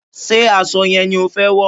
Ṣé aṣọ yẹn ni o fẹ wọ̀?